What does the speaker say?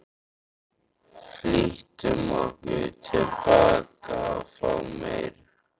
Flýttum okkur tilbaka að fá meir.